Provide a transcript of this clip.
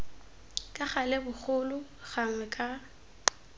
ka gale bogolo gangwe ka